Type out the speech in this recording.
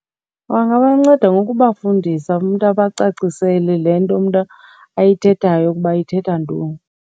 Bangabanceda ngokubafundisa, umntu abacacisele le nto umntu ayithethayo ukuba ithetha ntoni.